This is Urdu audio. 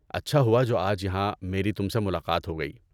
اچھا ہوا جو آج یہاں میری تم سے ملاقات ہو گئی۔